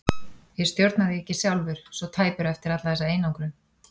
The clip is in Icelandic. Ég stjórna því ekki sjálfur, svo tæpur eftir alla þessa einangrun.